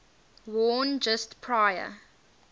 worn just prior